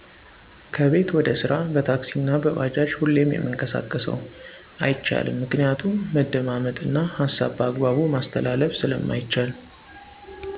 ከቤት ወደ ስራ በታክሲ አና በባጃጅ ሁሌም የምንቀሳቀሰው። አይቻልም ምክንያቱም መደማመጥ እና ሀሳብ በአግባቡ ማስተላለፍ ስለማይቻል